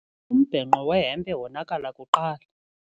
Umbhenqo wehempe wonakala kuqala.